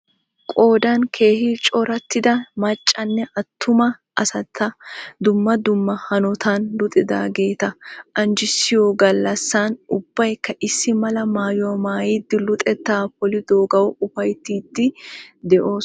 Qoodan keehi corattida maccanne attumma asata dumma dumma hanotan luxidageeta anjissiyo gallassan ubbayikka issimala maayuwa maayidi luxeta polidoogawu upayittiiddi doosona.